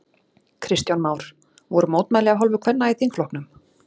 Kristján Már: Voru mótmæli af hálfu kvenna í þingflokknum?